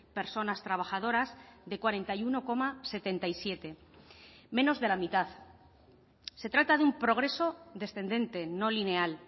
personas trabajadoras de cuarenta y uno coma setenta y siete menos de la mitad se trata de un progreso descendente no lineal